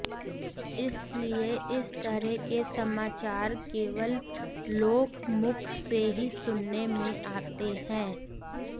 इसलिए इस तरह के समाचार केवल लोकमुख से ही सुनने में आते हैं